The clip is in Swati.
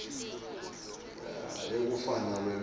yekufundza nobe luhlelo